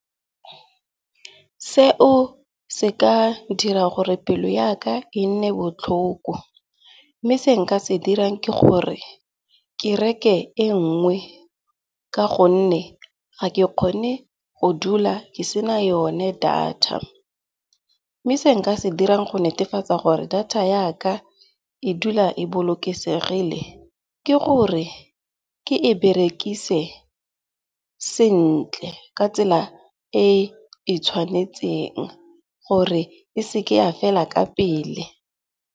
Seo se ka dira gore pelo ya ka e nne botlhoko. Mme se nka se dirang ke gore ke reke e nngwe ka gonne ga ke kgone go dula ke sena yone data. Mme se nka se dirang go netefatsa gore data ya ka e dula e bolokesegile, ke gore ke e berekise sentle ka tsela e e tshwanetseng gore e seke ya fela ka pele.